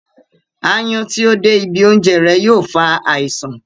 Áyán tí ó dé ibi oúnjẹ rẹ̀ yóò fa àisàn